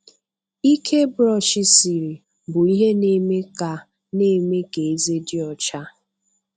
Ike bụrọshị siri bụ ihe na-eme ka na-eme ka eze dị ọcha.